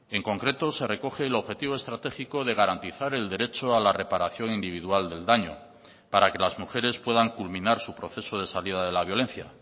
en concreto se recoge el objetivo estratégico de garantizar el derecho a la reparación individual del daño para que las mujeres puedan culminar su proceso de salida de la violencia